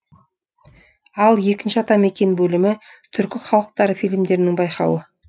ал екінші атамекен бөлімі түркі халықтары фильмдерінің байқауы